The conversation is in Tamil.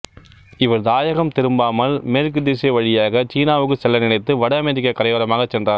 இவர் தாயகம் திரும்பாமல் மேற்குத்திசை வழியாகச் சீனாவுக்குச் செல்ல நினைத்து வட அமெரிக்கக் கரையோரமாகச் சென்றார்